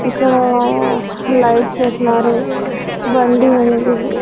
ఇక్కడా లైట్స్ ఎస్నారు బండి ఉంది.